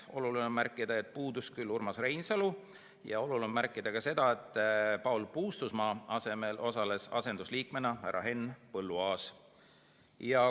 Oluline on märkida, et puudus Urmas Reinsalu, ja oluline on märkida ka seda, et Paul Puustusmaa asemel osales asendusliikmena härra Henn Põlluaas.